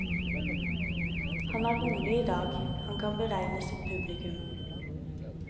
Han er rolig i dag, han kan beregne sitt publikum.